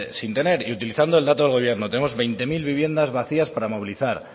sin tener y utilizando el dato del gobierno tenemos veinte mil viviendas vacías para movilizar